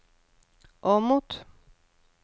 Åmot